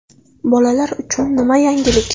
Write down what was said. Bolalar uchun nima yangilik?